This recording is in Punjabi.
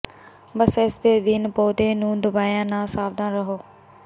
ਬਸ ਇਸਦੇ ਅਧੀਨ ਪੌਦੇ ਨੂੰ ਦਬਾਇਆ ਨਾ ਸਾਵਧਾਨ ਰਹੋ